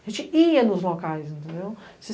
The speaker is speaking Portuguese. A gente ia nos locais, entendeu?